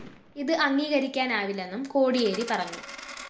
ഇത് അംഗീകരിക്കാനാവില്ലെന്നും കോടിയേരി പറഞ്ഞു